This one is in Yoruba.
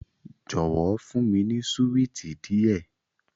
Jọwọ, fun mi ni suwiti diẹ